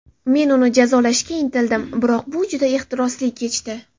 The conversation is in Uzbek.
Men uni jazolashga intildim, biroq bu juda ehtirosli kechdi.